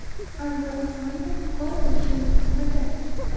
Anzur Ismoilov: Gol urishimni kutmagandim.